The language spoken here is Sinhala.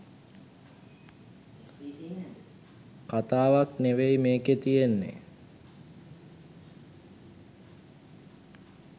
කතාවක් නෙවෙයි මේකෙ තියෙන්නෙ.